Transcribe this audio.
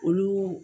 Olu